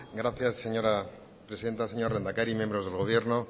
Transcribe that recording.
gracias señora presidenta señor lehendakari miembros del gobierno